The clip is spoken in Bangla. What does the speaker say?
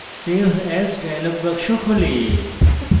save as dialog box খোলে